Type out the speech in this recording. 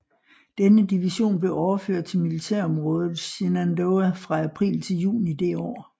Denne division blev overført til Militærområdet Shenandoah fra april til juni det år